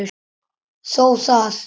Þó það.